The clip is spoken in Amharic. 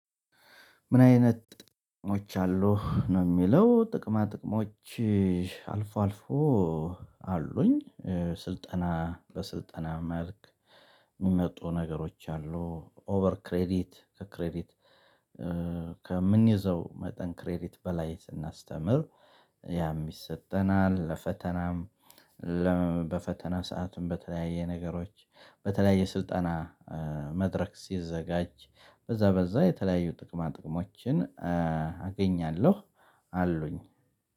ምን አይነት ጥቅሞች አሉ ነው የሚለው ጥቅማ ጥቅሞች አልፎ አልፎ አሉኝ። ስልጠና በስልጠና መልክ የሚመጡ ነገሮች አሉ። ኦቨር ክሬዲት ከክሬዲት ከምንይዘው መጠን ክሬዲት በላይ ስናስተምር። ያም ይሰጠናል። ለፈተናም። በፈተና ሰዓትም በተለያየ ነገሮች በተለያየ ስልጠና መድረክ ሲዘጋጅ በዛ በዛ የተለያዩ ጥቅማ ጥቅሞችን አገኛለሁ። አሉኝ።